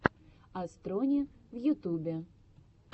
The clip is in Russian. астрони в ютубе